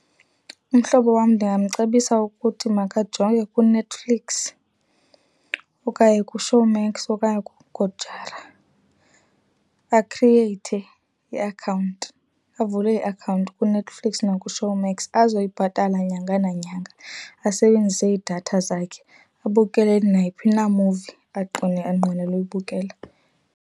Umhlobo wam ndingamcebisa ukuthi makajonge kuNetflix okanye kuShowmax okanye kuGoojara akhrieyithe iakhawunti, avule iakhawunti kuNetflix nakuShowmax azoyibhatala nyanga nanyanga. Asebenzise iidatha zakhe abukele nayiphi na movie anqwenela uyibukela.